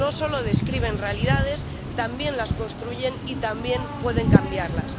no solo describen realidades, también las construyen y también pueden cambiarlas.